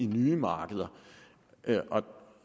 nye markeder